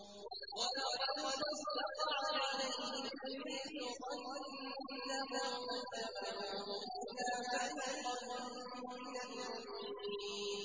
وَلَقَدْ صَدَّقَ عَلَيْهِمْ إِبْلِيسُ ظَنَّهُ فَاتَّبَعُوهُ إِلَّا فَرِيقًا مِّنَ الْمُؤْمِنِينَ